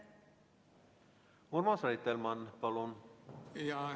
Urmas Reitelmann, palun!